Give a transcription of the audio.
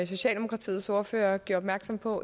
socialdemokratiets ordfører gjorde opmærksom på